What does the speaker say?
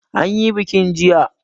An yi bikin jiya.